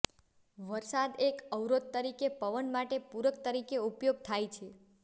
વરસાદ એક અવરોધ તરીકે પવન માટે પૂરક તરીકે ઉપયોગ થાય છે